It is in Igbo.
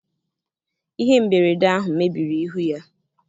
ihe mberede ahụ mebiri ihu ya.